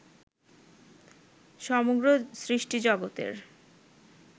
সমগ্র সৃষ্টিজগতের